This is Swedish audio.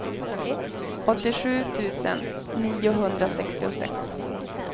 åttiosju tusen niohundrasextiosex